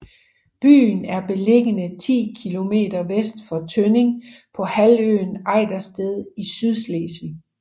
Byen er beliggende ti kilometer vest for Tønning på halvøen Ejdersted i Sydslesvig